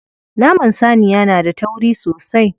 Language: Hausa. Naman saniya na da tauri sosai.